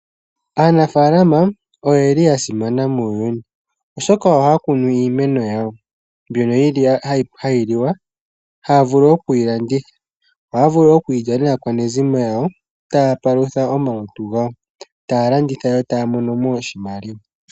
Aanafaalama oye li yasimana muuyuni , oshoka ohaya kunu iimeno yawo mbyono yili hayi liwa . Ohaya vulu okuyilanditha, ohaya vulu okuyi lya naakwanezimo yawo , taya palutha omalutu gawo, taya landitha yo taya mono mo oshimaliwa.